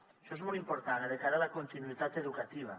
això és molt important de cara a la continuïtat educativa